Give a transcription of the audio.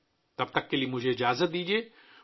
تب کے لیے مجھے وداع دیجیے